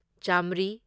ꯆꯥꯃ꯭ꯔꯤ